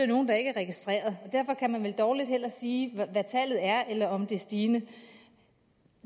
nogle der ikke er registreret og derfor kan man vel dårligt sige hvad tallet er eller om det er stigende